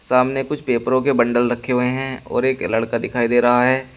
सामने कुछ पेपरों के बंडल रखे हुए हैं और एक लड़का दिखाई दे रहा है।